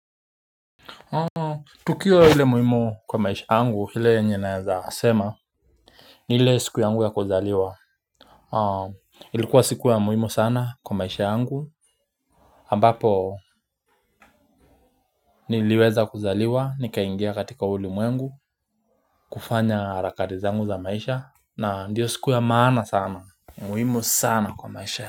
Tukio hile muhimu kwa maisha angu hile yenye naeza sema. Ni hile siku yangu ya kuzaliwa. Ilikuwa siku ya muhimu sana kwa maisha yangu ambapo niliweza kuzaliwa nikaingia katika ulimwengu. Kufanya harakati zangu za maisha na ndiyo siku ya maana sana. Muhimu sana kwa maisha.